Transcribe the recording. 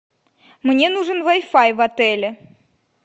мне нужен вай фай в отеле